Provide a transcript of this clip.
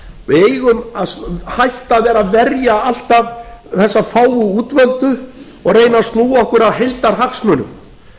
við eigum að hætta að vera að verja alltaf þessa fáu útvöldu og reyna að snúa okkur að heildarhagsmunum